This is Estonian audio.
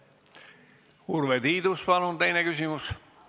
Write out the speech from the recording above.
Urve Tiidus, palun teine küsimus!